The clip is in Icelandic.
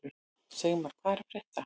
Sigmar, hvað er að frétta?